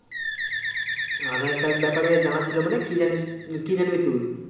আধার card ব্যাপারে জানার ছিল মানে কি জানিসকি জানবি তুই